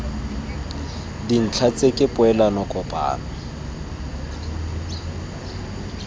dintha tse ke poelano kopano